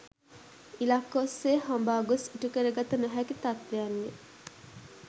ඉලක්ක ඔස්සේ හඹා ගොස් ඉටු කරගත නොහැකි තත්ත්වයන්ය.